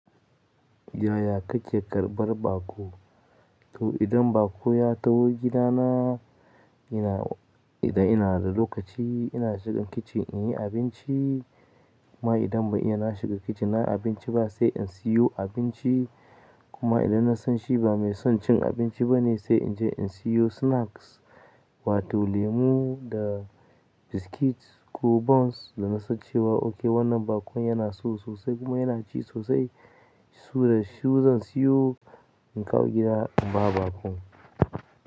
Yaya kake karɓar baƙo? To idan baƙo ya taho gidana, ina, idan ina da lokaci ina shigan kicin inyi abinci. Kuma idan ban iya na shiga kicin na abinci ba sai in siyo abinci. Kuma idan na san shi ba mai son cin abinci ba ne sai inje in siyo snacks wato lemu da biskit ko buns. Da na san cewa oke wannan bakon yana so sosai kuma yana ci sosai, sure shi zan siyo in kawo gida in ba baƙon.